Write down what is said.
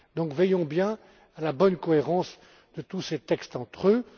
Donc, veillons bien à la bonne cohérence de tous ces textes entre eux.